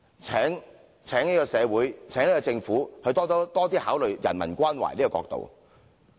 請這個社會和政府多加考慮人文關懷的角度。